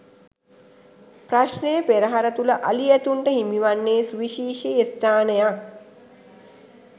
ප්‍රශ්නය පෙරහර තුළ අලි ඇතුන්ට හිමිවන්නේ සුවිශේෂී ස්ථානයක්.